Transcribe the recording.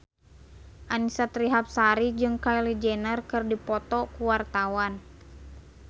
Annisa Trihapsari jeung Kylie Jenner keur dipoto ku wartawan